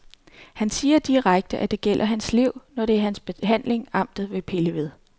Han siger direkte, at det gælder hans liv, når det er hans behandling, amtet vil pille ved.